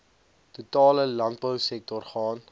totale landbousektor gaan